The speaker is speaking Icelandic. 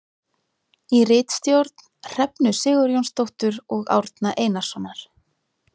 Í ritstjórn Hrefnu Sigurjónsdóttur og Árna Einarssonar.